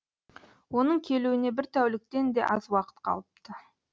оның келуіне бір тәуліктен де аз уақыт қалыпты